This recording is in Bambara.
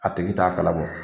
A tigi t'a kalama.